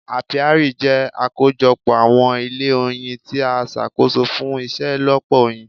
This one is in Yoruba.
Apiari jẹ́ àkójọ pọ àwọn ilé oyin tí a ṣàkóso fún iṣelọpọ oyin.